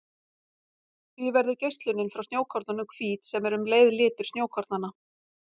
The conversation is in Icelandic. Því verður geislunin frá snjókornunum hvít sem er um leið litur snjókornanna.